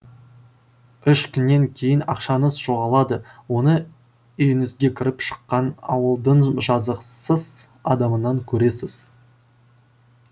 үш күннен кейін ақшаңыз жоғалады оны үйіңізге кіріп шыққан ауылдың жазықсыз адамынан көресіз